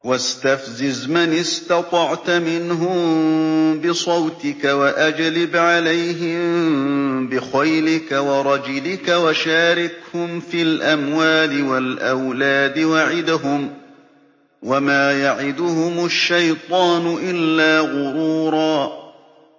وَاسْتَفْزِزْ مَنِ اسْتَطَعْتَ مِنْهُم بِصَوْتِكَ وَأَجْلِبْ عَلَيْهِم بِخَيْلِكَ وَرَجِلِكَ وَشَارِكْهُمْ فِي الْأَمْوَالِ وَالْأَوْلَادِ وَعِدْهُمْ ۚ وَمَا يَعِدُهُمُ الشَّيْطَانُ إِلَّا غُرُورًا